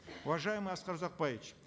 уважаемый аскар узакбаевич